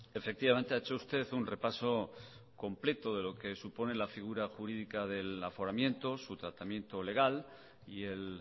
efectivamente ha hecho usted un repaso completo de lo que supone la figura jurídica del aforamiento su tratamiento legal y el